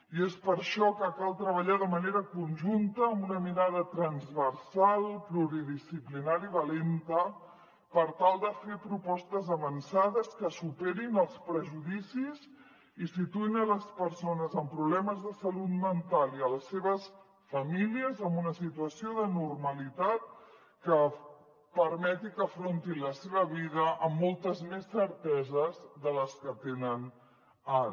i és per això que cal treballar de manera conjunta amb una mirada transversal pluridisciplinari i valenta per tal de fer propostes avançades que superin els prejudicis i situïn les persones amb problemes de salut mental i les seves famílies en una situació de normalitat que permetin que afrontin la seva vida amb moltes més certeses de les que tenen ara